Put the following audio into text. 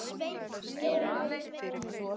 Hver er enn óljóst.